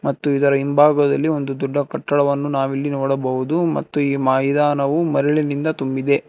ಮತ್ತು ಇದರ ಹಿಂಭಾಗದಲ್ಲಿ ಒಂದು ದೊಡ್ಡ ಕಟ್ಟಡವನ್ನು ನಾವಿಲ್ಲಿ ನೋಡಬಹುದು ಮತ್ತು ಈ ಮೈದಾನವು ಮರಳಿನಿಂದ ತುಂಬಿದೆ.